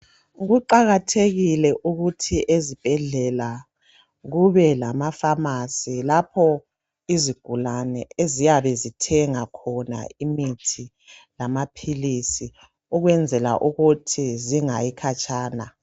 Kuqakathekile ukuthi ezibhedlela kube lamafamasi lapho izigulane eziyabe zithenga khona imithi lamaphilisi ukwenzela ukuthi zingayi khatshana.